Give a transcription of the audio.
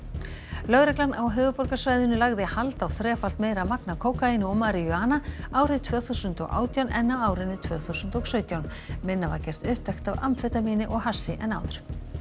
lögreglan á höfuðborgarsvæðinu lagði hald á þrefalt meira magn af kókaíni og maríjúana árið tvö þúsund og átján en á árinu tvö þúsund og sautján minna var gert upptækt af amfetamíni og hassi en áður